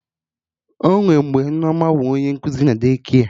Onwe mgbe Nneoma bụ onye nkuzi na De-kia